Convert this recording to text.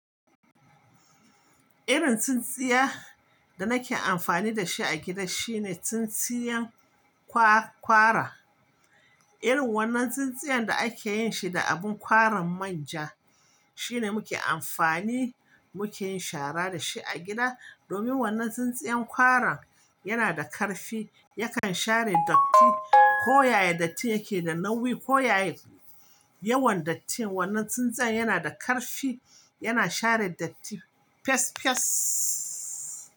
Irin tsintsiya da nake amfani da shi a gida shine tsintsiyan kwa-kwara. Irin wannan tsintsiyan da ake yin shi da abin kwaran manja shine muke amfani muke yin shara da shi a gida. Domin wannan tsintsiyan kwaran yana da ƙarfi, yakan share datti ko yaya datti yake da nauyi, ko yaya yawan dattin. Wannan tsintsiya yana da ƙarfi, yana share datti fes fes.